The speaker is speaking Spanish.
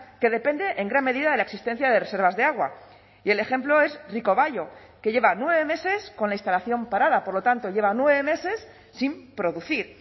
que depende en gran medida de la existencia de reservas de agua y el ejemplo es ricobayo que lleva nueve meses con la instalación parada por lo tanto lleva nueve meses sin producir